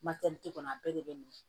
Matɛli kɔnɔ a bɛɛ de bɛ minɛ